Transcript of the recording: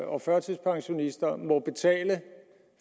og førtidspensionister må betale